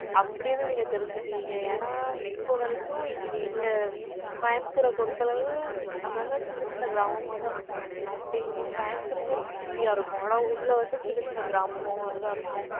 அப்படின்னு, நீங்க தெரிஞ்சுக்குவீங்க. ஏன்னா, இப்ப வரைக்கும், இங்க, எங்க, கோயம்புத்தூரை பொறுத்த அளவு, அங்கங்க, சின்ன, சின்ன கிராமமாதான், இருக்கும் அப்படிங்கிப்போ கோயம்புத்தூர்ங்கிறது, city யா இருக்கும். ஆனா, உள்ளே வந்து, சின்னச் சின்ன கிராமமா, மாதிரிதான், இருக்கும்.